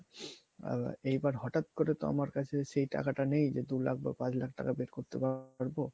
আ~ এইবার হটাৎ করে তো আমার কাছে সেই টাকাটা নেই যে দু লাখ বা পাঁচ লাখ টাকা বের করতে পারবো